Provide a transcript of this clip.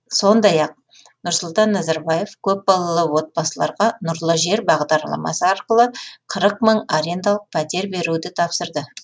сондай ақ нұрсұлтан назарбаев көпбалалы отбасыларға нұрлы жер бағдарламасы арқылы қырық мың арендалық пәтер беруді тапсырды